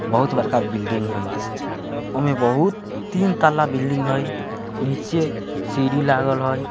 बहुत बड़का बिल्डिंग हई उनमे बहुत तीन तल्ला बिल्डिंग हई नीचे सीढ़ी लागल हई।